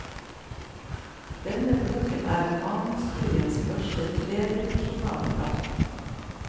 Denne boken er romanhistoriens første tredimensjonale verk.